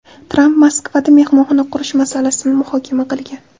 Tramp Moskvada mehmonxona qurish masalasini muhokama qilgan.